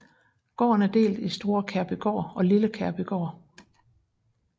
Gården er delt i Store Kærbygård og Lille Kærbygård